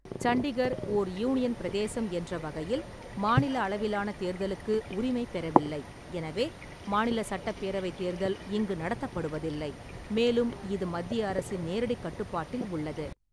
சண்டிகர் ஓர் யூனியன் பிரதேசம் என்ற வகையில், மாநில அளவிலான தேர்தலுக்கு உரிமை பெறவில்லை, எனவே மாநில சட்டப்பேரவைத் தேர்தல் இங்கு நடத்தப்படுவதில்லை, மேலும் இது மத்திய அரசின் நேரடிக் கட்டுப்பாட்டில் உள்ளது.